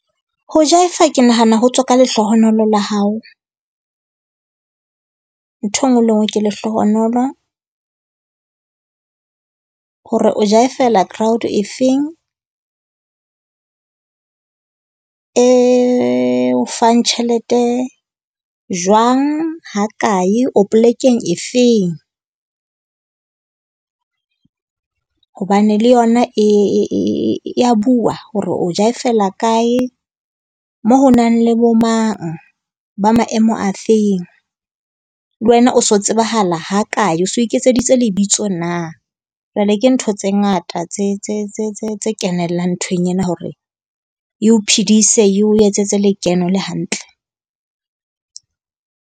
Ho jaefa ke nahana ho tswa ka lehlohonolo la hao. Ntho e nngwe le e nngwe ke lehlohonolo. Hore o jaefela crowd efeng. E o fang tjhelete jwang, hakae, o polekeng efeng. Hobane le yona e ya bua hore o jaefela kae, moo ho nang le bomang, ba maemo afeng. Le wena o so tsebahala hakae? O se o iketseditse lebitso na? Jwale ke ntho tse ngata tse tse tse tse kenellang nthong ena, hore e o phidise, e o etsetse lekeno le hantle.